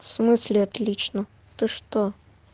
в смысле отлично это что